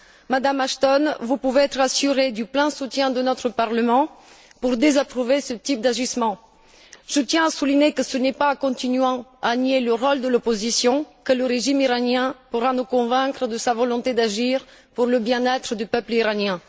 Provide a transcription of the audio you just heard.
Madame Ashton, vous pouvez être assurée du plein soutien que notre Parlement vous apportera pour désapprouver ce type d'agissement. Je tiens à souligner que ce n'est pas en continuant à nier le rôle de l'opposition que le régime iranien pourra nous convaincre de sa volonté d'agir pour le bien être du peuple iranien.